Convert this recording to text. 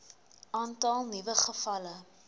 aantal nuwe gevalle